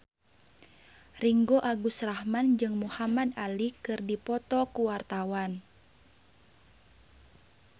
Ringgo Agus Rahman jeung Muhamad Ali keur dipoto ku wartawan